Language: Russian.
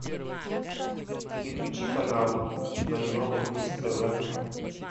переключи канал на европа плюс тв